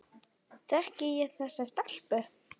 Þekki ég þessa stelpu?